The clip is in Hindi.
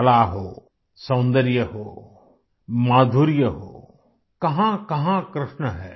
कला हो सौन्दर्य हो माधुर्य हो कहाँकहाँ कृष्ण है